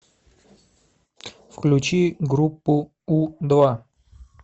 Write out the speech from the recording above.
включи группу у два